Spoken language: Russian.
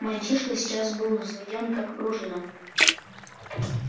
мальчишка сейчас был взведён как пружина